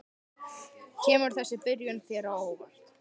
Kemur þessi byrjun þér á óvart?